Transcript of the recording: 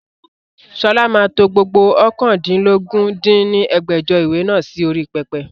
Sọlá máa to gbogbo oókàndínlógún dín ní ẹgbẹ́jọ ìwé náà sì orí pẹpẹ